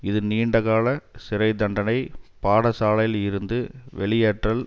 இது நீண்ட கால சிறை தண்டனை பாடசாலையில் இருந்து வெளியேற்றல்